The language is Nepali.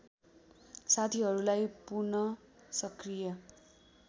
साथीहरूलाई पुनःसकृय